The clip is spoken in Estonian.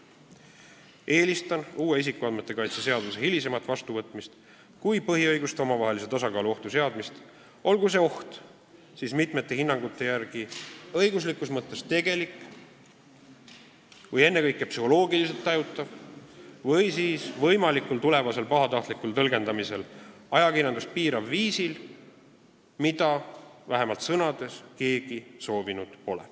Eelistan uue isikuandmete kaitse seaduse hilisemat vastuvõtmist põhiõiguste omavahelise tasakaalu ohtu seadmisele – olgu see oht siis mitmete hinnangute järgi õiguslikus mõttes tegelik või ennekõike psühholoogiliselt tajutav oht või siis võimalik oht tulevikus pahatahtlikul tõlgendamisel ajakirjandust piirata viisil, mida vähemalt sõnades keegi soovinud pole.